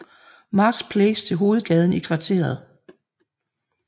Marks Place til hovedgaden i kvarteret